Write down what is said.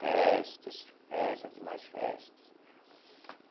Festas, festas e mais festas.